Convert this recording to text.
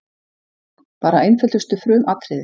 Bara einföldustu frumatriði.